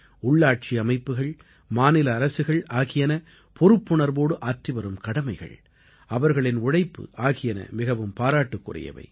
உள்ளாட்சி அமைப்புக்கள் மாநில அரசுகள் ஆகியன பொறுப்புணர்வோடு ஆற்றிவரும் கடமைகள் அவர்களின் உழைப்பு ஆகியன மிகவும் பாராட்டுக்குரியவை